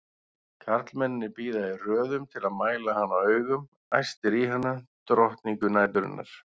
Karlmennirnir bíða í röðum til að mæla hana augum, æstir í hana, drottningu næturinnar!